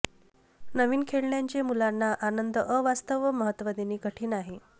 नवीन खेळण्यांचे मुलांना आनंद अवास्तव महत्व देणे कठीण आहे